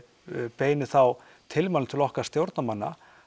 beinum þá tilmælum til okkar stjórnarmanna